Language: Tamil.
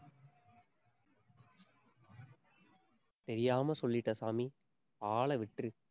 தெரியாம சொல்லிட்டேன் சாமி. ஆளை விட்டிரு